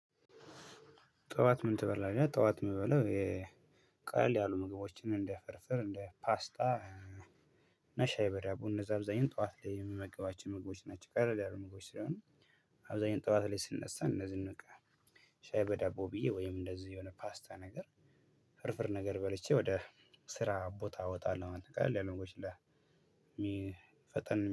ጠዋት ምን ትበላለህ? ጠዋት የምበላው የቃል ያሉ ምግቦችን እንደ ፍርፍር እንደ ፓስታ እና ሻይበዳቦ እንደዛ አብዛኛው ጠዋት ላይ የምመገባቸው ምግቦች ናቸው። ቀለል ያሉ ምግቦች ስለሆኑ። አብዛኛው ጠዋት ላይ ስንነሳ እንደዚህ በቃ ሻይ በዳቦ ብዬ ወይም እንደዚህ የሆነ ፓስታ ነገር ፍርፍር ነገር በልቼ ወደ ስራ ቦታ እወጣለሁ። አንተ ቀለል ያሉ ምግቦች ላይ ፈጠን